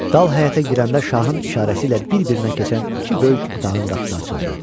Dal həyətə girəndə şahın işarəsi ilə bir-birinə keçən iki böyük otağın qapısı açıldı.